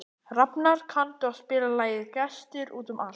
Rafnar, kanntu að spila lagið „Gestir út um allt“?